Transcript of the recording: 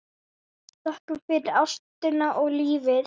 Þökkum fyrir ástina og lífið.